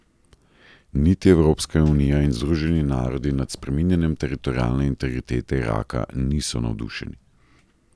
Niti Evropska unija in Združeni narodi nad spreminjanjem teritorialne integritete Iraka niso navdušeni.